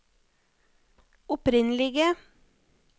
opprinnelige